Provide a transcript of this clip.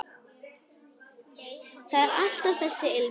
Það er alltaf þessi ilmur.